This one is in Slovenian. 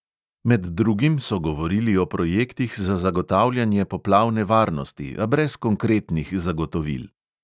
Med drugim so govorili o projektih za zagotavljanje poplavne varnosti, a brez konkretnih zagotovil.